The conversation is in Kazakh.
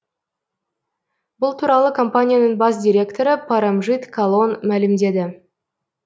бұл туралы компанияның бас директоры парамжит калон мәлімдеді